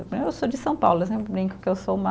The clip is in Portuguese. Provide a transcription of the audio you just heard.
Eu sou de São Paulo, eu sempre brinco que eu sou uma